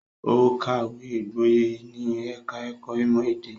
Ó kàwé gboyè ní ẹ̀ka-ẹ̀kọ́ ìmọ̀-èdè.